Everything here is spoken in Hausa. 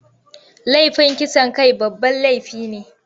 Laifin kisan kai babban laifi ne.